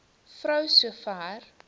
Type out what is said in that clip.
vrou so ver